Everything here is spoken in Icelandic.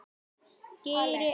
Geri ekkert.